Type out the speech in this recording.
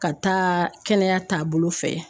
Ka taa kɛnɛya taabolo fɛ